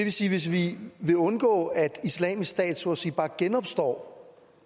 vil sige at hvis vi vil undgå at islamisk stat så at sige bare genopstår